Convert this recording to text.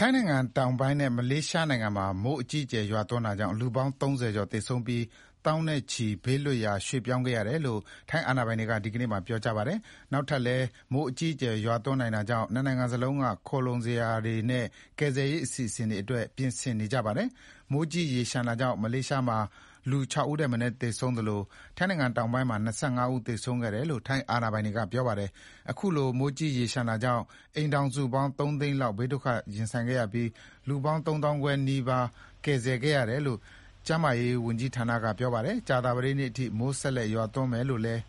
ထိုင်းနိုင်ငံတောင်ပိုင်းနဲ့ မလေးရှားနိုင်ငံမှာ မိုးအကြီးအကျယ်ရွာသွန်းတာကြောင့် လူပေါင်း ၃၀ ကျော် သေဆုံးပြီးသောင်းနဲ့ချီ ဘေးလွတ်ရာ ရွှေ့ပြောင်းခဲ့ရတယ်လို့ ထိုင်းအာဏာပိုင်တွေက ဒီကနေ့ မှာ ပြောကြားခဲ့ပါတယ်။ နောက်ထပ်လည်း မိုးအကြီးအကျယ် ရွာသွန်းနိုင်တာကြောင့် ၂ နိုင်ငံလုံးက ခိုလှုံစရာနေရတွေနဲ့ ကယ်ဆယ်ရေးအစီအစဥ်တွေအတွက် ပြင်ဆင်နေကြပါတယ်။ မိုးကြီးရေလျှံတာကြောင့် မလေးရှားမှာ လူ ၆ ဦးထက်မနည်း သေဆုံးသလို ထိုင်းတောင်ပိုင်းမှာ ၂၅ ဦး သေဆုံးခဲ့တယ်လို့ ထိုင်းအာဏာပိုင်တွေက ပြောပါတယ်။ ခုလို မိုးကြီးရေလျှံတာကြောင့် အိမ်ထောင်စုပေါင်း ၃ သိန်းလောက် ဘေးဒုက္ခရင်ဆိုင်ခဲ့ရပြီး လူပေါင်း ၃ သောင်းခွဲနီးပါး ကယ်ဆယ်ခဲ့ ရတယ်လို့ ကျန်းမာရေးဝန်ကြီးဌာနက ပြောပါတယ်။ကြာသပတေးနေ့ထိ မိုးဆက်လက်ရွာသွန်းမယ် ဆိုပြီးတော့လည်း